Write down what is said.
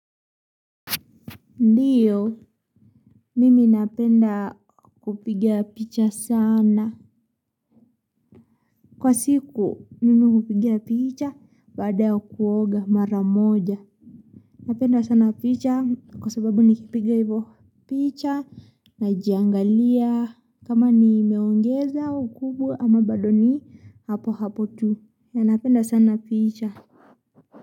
Ndiyo, mimi napenda kupigia picha sana. Kwa siku, mimu hukupigia picha baada ya kuoga mara moja. Napenda sana picha kwa sababu nikipiga hivyo picha najiangalia kama nimeongeza ukubwa ama bado ni hapo hapo tu. Na napenda sana picha.